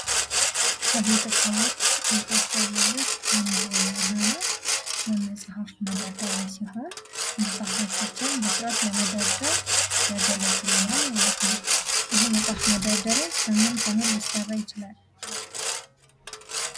ከቤት እቃዎች መካከል ውስጥ አንዱ የሆነው የመጽሐፍ መደርደሪያ ሲሆን መጽሐፎቻችን በስርዓት ለመደርደር ያገለግለናል ማለት ነው። ይህ የመጽሐፍ መደርደሪያ ከምን ከምን ሊሰራ ይችላል?